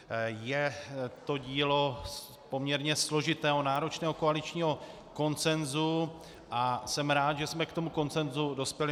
Je to dílo poměrně složitého náročného koaličního konsenzu a jsem rád, že jsme k tomu konsenzu dospěli.